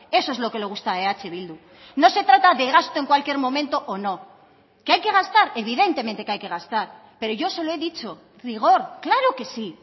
eso es lo que le gusta a eh bildu no se trata de gasto en cualquier momento o no que hay que gastar evidentemente que hay que gastar pero yo se lo he dicho rigor claro que sí